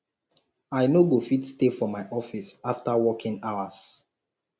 i no go fit stay for my office after working hours